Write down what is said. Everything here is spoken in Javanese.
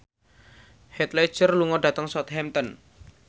Heath Ledger lunga dhateng Southampton